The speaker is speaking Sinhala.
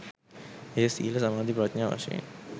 එය සීල සමාධි ප්‍රඥා වශයෙන්